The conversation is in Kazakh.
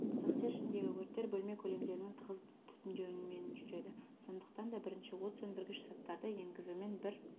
цехтер ішіндегі өрттер бөлме көлемдерінің тығыз түтіндеуімен жүреді сондықтан да бірінші от сөндіргіш заттарды енгізумен бір